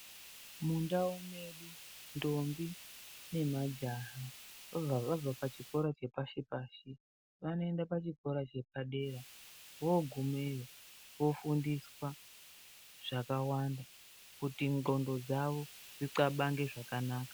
Mundau medu ndombi nemajaha vabva pachikora chepashipashi vanoenda pachikora chepadera vogumeyo vofundiswa zvakawanda kuti nxondo dzawo dzinxabange zvakanaka.